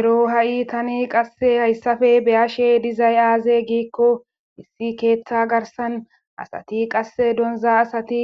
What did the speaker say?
ero ha7i tani qasse hayssafe beyashe dizay aaze giikko issi keeththa garsan asati qasse donza asati